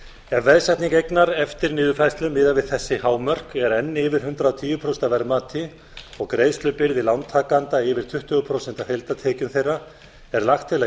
ef veðsetning eignar eftir niðurfærslu miðað við þessi hámörk er enn yfir hundrað og tíu prósent af verðmati og greiðslubyrði lántakenda yfir tuttugu prósent af heildartekjum þeirra er lagt til að